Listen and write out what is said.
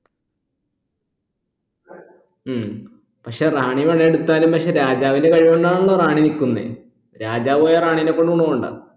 ഉം പക്ഷെ റാണി പണി എടുത്താലും പക്ഷെ രാജാവിന്റെ കളി കൊണ്ടാണല്ലോ റാണി നിക്കുന്നെ രാജാവ് പോയാൽ റാണിനെ കൊണ്ട് ഗുണമുണ്ടാ